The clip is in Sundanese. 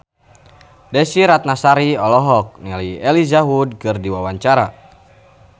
Desy Ratnasari olohok ningali Elijah Wood keur diwawancara